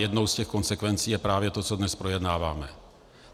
Jednou z těch konsekvencí je právě to, co dnes projednáváme.